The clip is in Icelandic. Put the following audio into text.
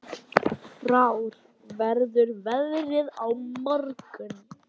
Frár, hvernig verður veðrið á morgun?